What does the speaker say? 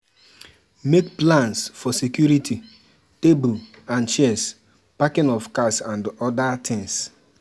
Make plans for security, table and chairs, parking of cars and oda things